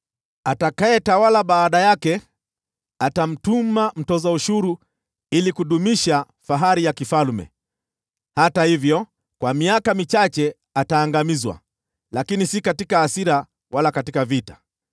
“Atakayetawala baada yake atamtuma mtoza ushuru ili kudumisha fahari ya kifalme. Hata hivyo, baada ya miaka michache ataangamizwa, lakini si katika hasira wala katika vita.